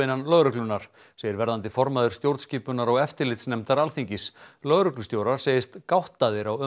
innan lögreglunnar segir verðandi formaður stjórnskipunar og eftirlitsnefndar Alþingis lögreglustjórar segjast gáttaðir á